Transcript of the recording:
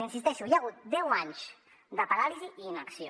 hi insisteixo hi ha hagut deu anys de paràlisi i inacció